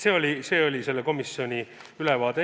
Aga see oli selle komisjoni istungi ülevaade.